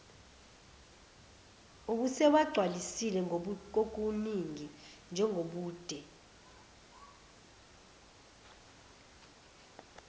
ubesewagcwalisile kokuningi njengobude